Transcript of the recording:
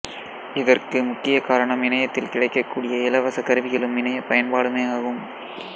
இதற்கு முக்கிய காரணம் இணையத்தில் கிடைக்கக்கூடிய இலவச கருவிகளும் இணைய பயன்பாடுமே ஆகும்